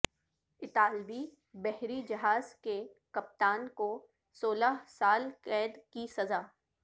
اطالوی بحری جہاز کے کپتان کو سولہ سال قید کی سزا